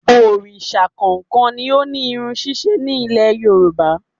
Òrìsà kọ̀ọ̀kan ni ó ní irun ṣíṣe ní Ilẹ̀ Yorùbá